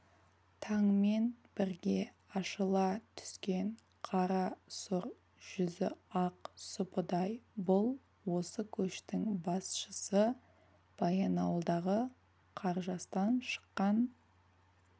таңмен бірге ашыла түскен қара сұр жүзі ақ сұпыдай бұл осы көштің басшысы баянауылдағы қаржастан шыққан